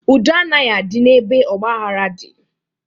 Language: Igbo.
Udo anaghị adị n'ebe ọgbaghara dị.